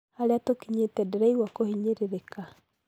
Haria tukinyĩte ndĩraigua kũhinyirĩrĩka